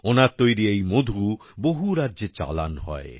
ওনার তৈরি এই মধু বহু রাজ্যে চালান হয়